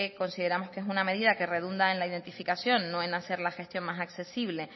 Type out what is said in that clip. consideramos que es una medida que redunda en la identificación no en hacer la gestión más accesible